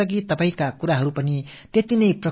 அதை நீங்கள் நாட்டு மக்களுக்குத் தெரிவிக்க விரும்பலாம்